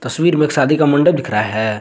तस्वीर में एक शादी का मंडप दिख रहा है।